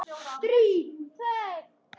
Davíð Bless.